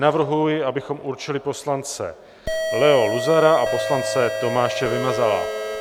Navrhuji, abychom určili poslance Leo Luzara a poslance Tomáše Vymazala.